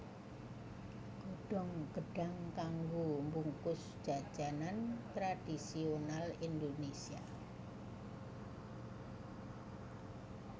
Godhong gêdhang kanggo mbungkus jajanan tradhisonal Indonésia